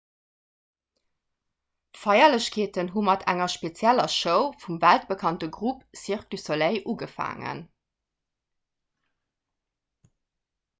d'feierlechkeeten hu mat enger spezieller show vum weltbekannte grupp cirque du soleil ugefaangen